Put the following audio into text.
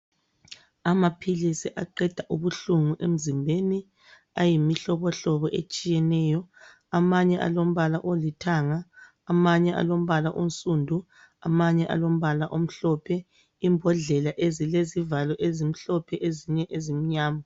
Amaphilisi aqeda ubuhlungu emzimbeni ayimihlobohlobo etshiyeneyo amanye alombala olithanga amanye alombala onsundu amanye alombala omhlophe imbodlela ezilezivalo ezimhlophe ezinye ezimnyama.